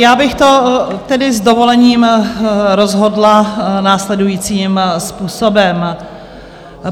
Já bych to tedy s dovolením rozhodla následujícím způsobem.